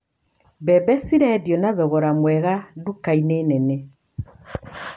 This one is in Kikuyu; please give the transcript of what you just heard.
Mbembe ci rendio na thogora mwega nduka-inĩ nene.